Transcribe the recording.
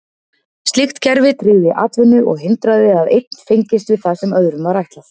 Slíkt kerfi tryggði atvinnu og hindraði að einn fengist við það sem öðrum var ætlað.